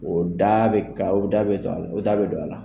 O da bɛ o da bɛ don a la, o da bɛ don a la.